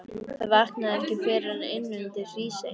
Hann vaknaði ekki fyrr en inn undir Hrísey.